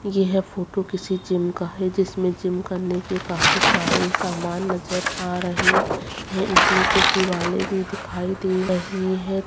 यह फोटो किसी जिम का है जिसमें जिम करने के काफी सारे समान नजर आ रहे हैं इसमें कुछ दीवाले दिखाई दे रही है।